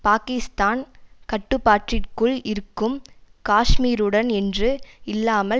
பாக்கிஸ்தான் கட்டுப்பாட்டிற்குள் இருக்கும் காஷ்மீருடன் என்று இல்லாமல்